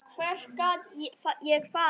Hvert gat ég farið?